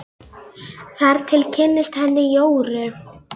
Þar til ég kynntist henni Jóru.